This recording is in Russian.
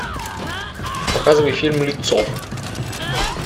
показывай фильм лицо